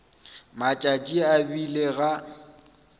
matšatši a e bile ga